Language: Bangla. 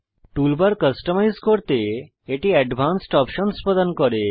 টুলবার কাস্টমাইজ করতে এটি অ্যাডভান্সড অপসন্স প্রদান করে